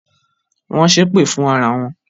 Wọn ń ṣépè fún ara wọn.